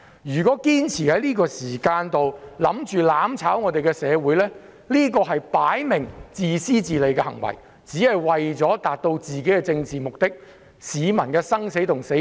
如果堅持在這個時候"攬炒"社會，明顯是自私自利的行為，為求達到一己的政治目的而置市民的生死於不顧。